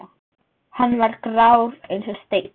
Hann var grár eins og steinn.